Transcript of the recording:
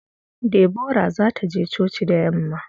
Deborah za ta je coci da yamma.